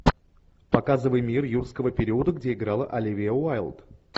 показывай мир юрского периода где играла оливия уайлд